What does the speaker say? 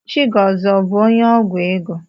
Chigọzie abụ onye ọgwụ ego?